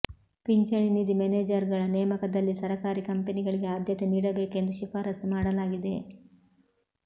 ಪಿಂಚಣಿ ನಿಧಿ ಮೇನೇಜರ್ ಗಳ ನೇಮಕದಲ್ಲಿ ಸರಕಾರಿ ಕಂಪನಿಗಳಿಗೆ ಆದ್ಯತೆ ನೀಡಬೇಕು ಎಂದು ಶಿಫಾರಸ್ಸು ಮಾಡಲಾಗಿದೆ